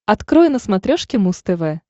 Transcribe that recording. открой на смотрешке муз тв